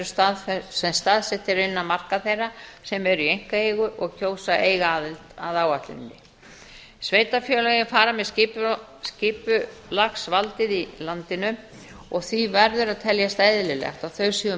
svæði sem staðsett eru innan marka þeirra sem eru í einkaeigu og kjósa að eiga aðild að áætluninni sveitarfélögin fara með skipulagsvaldið í landinu og því verður að teljast eðlilegt að þau séu